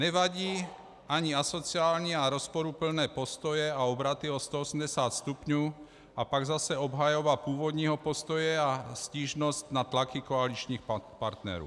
Nevadí ani asociální a rozporuplné postoje a obraty o 180 stupňů a pak zase obhajoba původního postoje a stížnost na tlaky koaličních partnerů.